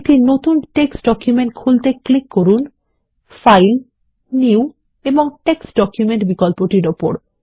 একটি নতুন text document খুলতে ক্লিক করুন ফাইল নিউ এবং টেক্সট ডকুমেন্ট বিকল্পটির উপর